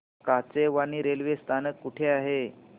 Kachewani railway स्थानक कुठे आहे